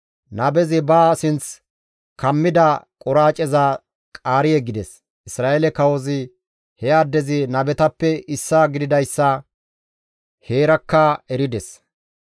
Nabezi ba sinth kammida quraaceza qaari yeggides; Isra7eele kawozi he addezi nabetappe issaa gididayssa heerakka erides.